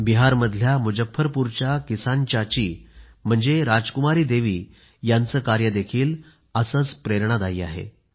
बिहारमधल्या मुजफ्फरपूरच्या किसान चाची म्हणजे राजकुमारी देवी यांचे कार्यही असेच प्रेरणादायी आहे